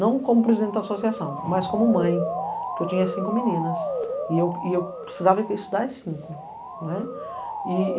não como presidente da associação, mas como mãe, porque eu tinha cinco meninas e eu precisava ir para estudar em cinco.